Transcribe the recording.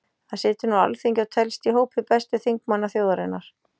Hann situr nú á Alþingi og telst í hópi bestu þingmanna þjóðarinnar.